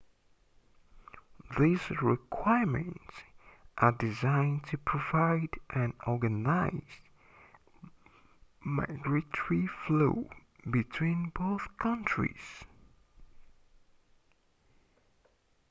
these requirements are designed to provide an organized migratory flow between both countries